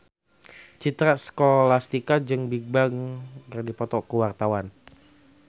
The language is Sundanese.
Citra Scholastika jeung Bigbang keur dipoto ku wartawan